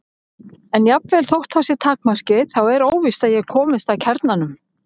En jafnvel þótt það sé takmarkið þá er óvíst að ég komist að kjarnanum.